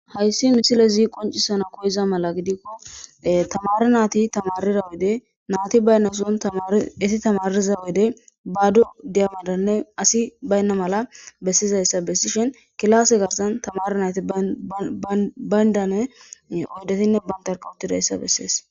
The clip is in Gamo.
hayssi misile zi qoncisana koyiza mala gidikko tamari naati tamarira wede naati baynna son esi tamariza wede baadu diyamadanne asi baynna mala bessizayssa bessishin kilase garsan tamare naati bayndane oydetinne bayntarkawutidayssa bessees